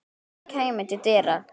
Kjartan kæmi til dyra.